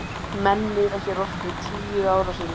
Menn miða hér oft við tíu ára hring.